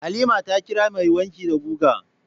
Halima ta kira mai wanki da guga.